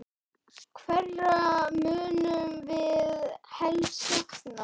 Hverra munum við helst sakna?